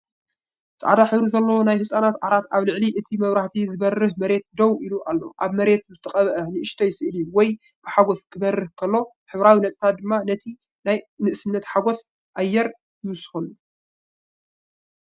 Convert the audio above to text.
ጻዕዳ ሕብሪ ዘለዎ ናይ ህጻናት ዓራት ኣብ ልዕሊ እቲ ብመብራህቲ ዝበርህ መሬት ደው ኢሉ ኣሎ። ኣብ መሬት ዝተቐብአ ንእሽቶ ስእሊ ወይኒ ብሓጐስ ክበርህ ከሎ፡ ሕብራዊ ነጥብታት ድማ ነቲ ናይ ንእስነት ሓጐስ ኣየር ይውስኸሉ።